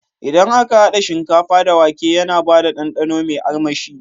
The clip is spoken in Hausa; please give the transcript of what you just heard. Idan aka hada shinkafa da wake yana bada dandano me armashi